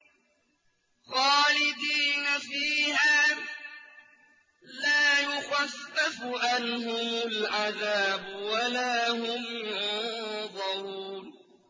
خَالِدِينَ فِيهَا لَا يُخَفَّفُ عَنْهُمُ الْعَذَابُ وَلَا هُمْ يُنظَرُونَ